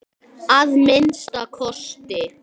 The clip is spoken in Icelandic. Að minnsta kosti.